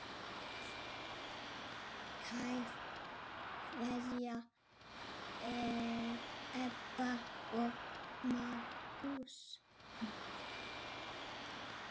Kær kveðja, Ebba og Magnús.